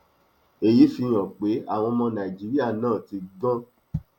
èyí fi hàn pé àwọn ọmọ nàìjíríà náà ti ń gbọn